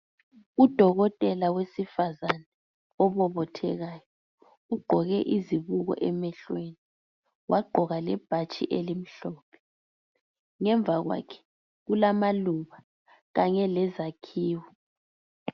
Udokotela wesifazane obobothekayo, ugqoke izibuko emehlweni, wagqoka lebhatshi elimhlophe. Ngemva kwakhe kulamaluba kanye lezakhiwo.